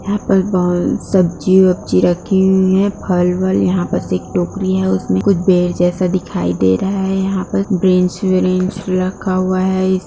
यहां पर बोल सब्जी-वब्जी रखी हुई है फल-वल यहां पर एक टोकरी है उसमें कुछ बेर जैसा दिखाई दे रहा है यहां पर रखा हुआ है।